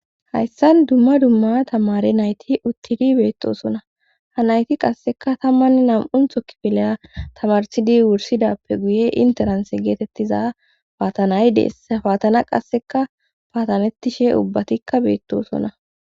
Hayssan dumma dumma tamare nayti uttidi beettosona ha nayti qasseka tammann nam7un thokkipeleya tamarsidi wursidappe guye interanse geetettiza paatanay deess paatana qasseka paatanettishe ubbatikka beettosona.